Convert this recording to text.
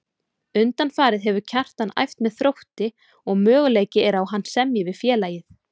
Undanfarið hefur Kjartan æft með Þrótti og möguleiki er á að hann semji við félagið.